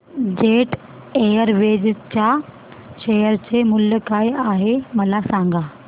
jet Airways च्या share चे मूल्य काय आहे मला सांगा